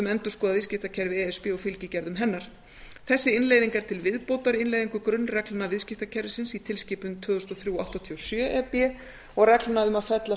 endurskoðað viðskiptakerfi e s b og fylgigerðum hennar þessi innleiðing er til viðbótar innleiðingu grunnreglna viðskiptakerfisins í tilskipun tvö þúsund og þrjú áttatíu og sjö e b og regla um að fella